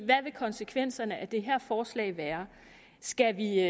vil konsekvenserne af det her forslag være skal vi